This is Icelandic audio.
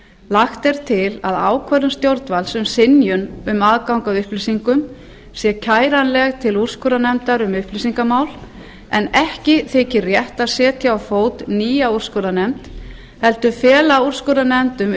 lagt er til að ákvörðun stjórnvalds um synjun um aðgang að upplýsingum sé kæranleg til úrskurðarnefndar um upplýsingamál en ekki þykir rétt að setja á fót nýja úrskurðarnefnd heldur fela úrskurðarnefnd um